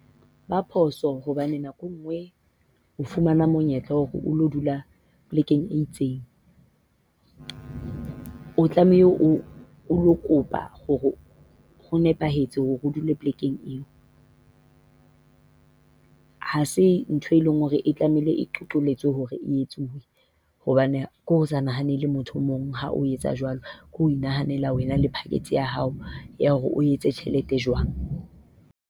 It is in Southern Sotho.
Ba phoso hobane nako e nngwe o fumana monyetla wa hore o ilo dula polekeng e itseng. O tlamehile o ilo kopa hore ho nepahetse hore o dule polekeng eo. Ha se ntho e leng hore e tlamehile hore e etsuwe, hobane ke ho sa nahanele motho o mong ha o etsa jwalo. Ke ho inahanela wena le package ya hao ya hore o etse tjhelete jwang.